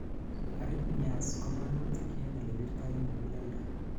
arrhythmias ko walutik en ole birtoi muguleldo